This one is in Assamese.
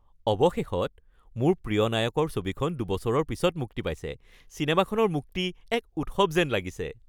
অৱশেষত, মোৰ প্ৰিয় নায়কৰ ছবিখন দুবছৰৰ পিছত মুক্তি পাইছে, চিনেমাখনৰ মুক্তি এক উৎসৱ যেন লাগিছে।